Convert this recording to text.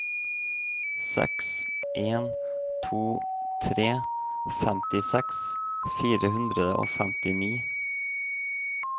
seks en to tre femtiseks fire hundre og femtini